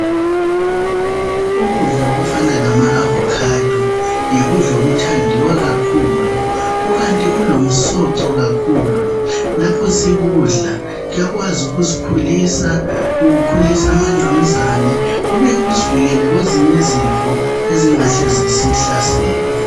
Ukudla okufana lama avocado yikudla okuthandiwa kakhulu kukanti kulomsoco kakhulu lapho sikudla kuyakwazi ukusikhulisa kukhulise amangqamuzane kubuye kusivikele kwezinye izifo ezingahle zisisihlasele.